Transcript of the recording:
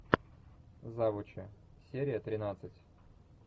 завучи серия тринадцать